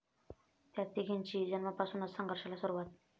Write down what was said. त्या' तिघींची जन्मापासूनच संघर्षाला सुरुवात!